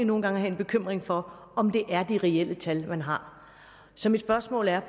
nogle gange have en bekymring for om det er de reelle tal man har så mit spørgsmål er